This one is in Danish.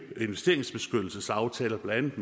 investeringsbeskyttelsesaftaler blandt